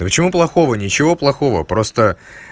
да почему плохого ничего плохого просто